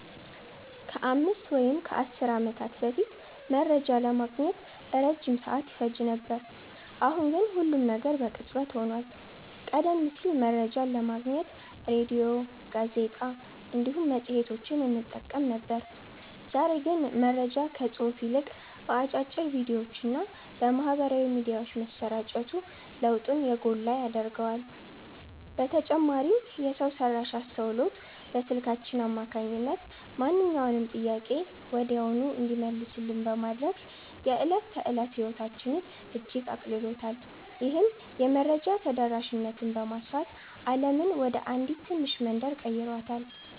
ከአምስት ወይም ከአሥር ዓመታት በፊት መረጃ ለማግኘት ረጅም ሰዓት ይፈጅ ነበር፤ አሁን ግን ሁሉም ነገር በቅጽበት ሆኗል። ቀደም ሲል መረጃን ለማግኘት ሬድዮ፣ ጋዜጣ እንዲሁም መጽሔቶችን እንጠቀም ነበር፤ ዛሬ ግን መረጃ ከጽሑፍ ይልቅ በአጫጭር ቪዲዮዎችና በማኅበራዊ ሚዲያዎች መሰራጨቱ ለውጡን የጎላ ያደርገዋል። በተጨማሪም የሰው ሠራሽ አስተውሎት በስልካችን አማካኝነት ማንኛውንም ጥያቄ ወዲያውኑ እንዲመለስልን በማድረግ የዕለት ተዕለት ሕይወታችንን እጅግ አቅልሎታል። ይህም የመረጃ ተደራሽነትን በማስፋት ዓለምን ወደ አንዲት ትንሽ መንደር ቀይሯታል።"